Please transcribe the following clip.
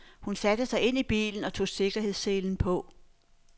Hun satte sig ind i bilen og tog sikkerhedsselen på.